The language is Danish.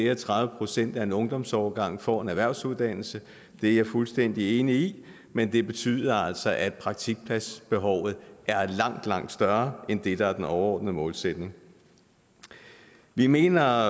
at tredive procent af en ungdomsårgang får en erhvervsuddannelse det er jeg fuldstændig enig i men det betyder altså at praktikpladsbehovet er langt langt større end det der er den overordnede målsætning vi mener